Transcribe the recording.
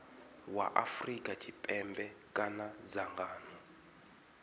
wa afrika tshipembe kana dzangano